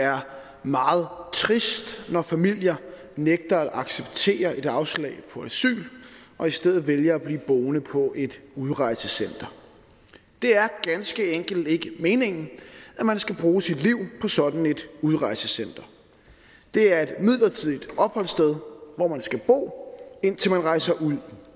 er meget trist når familier nægter at acceptere et afslag på asyl og i stedet vælger at blive boende på et udrejsecenter det er ganske enkelt ikke meningen at man skal bruge sit liv på sådan et udrejsecenter det er et midlertidigt opholdssted hvor man skal bo indtil man rejser ud